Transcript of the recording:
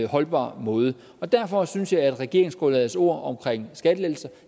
holdbar måde derfor synes jeg at regeringsgrundlagets ord om skattelettelser